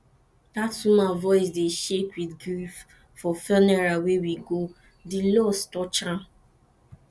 dat woman voice dey shake with grief for funeral wey we go di loss touch am